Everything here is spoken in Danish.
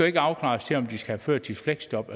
ikke afklares til om de skal have førtidsfleksjob